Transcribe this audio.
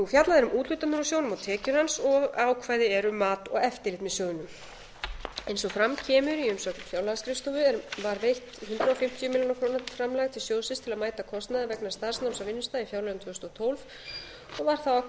fjallað er um úthlutanir úr sjóðnum og tekjur hans og ákvæði er um mat og eftirlit með sjóðnum eins og fram kemur í umsögn fjárlagaskrifstofu var var veitt hundrað fimmtíu milljónir króna framlag til sjóðsins til að mæta kostnaði vegna starfsnáms á vinnustað í fjárlögum tvö þúsund og tólf og var þá ákveðið